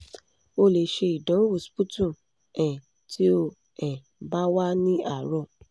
o le se idanwo sputum um ti o um ba wa ni aro